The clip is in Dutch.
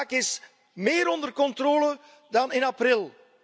De zaak is meer onder controle dan in april.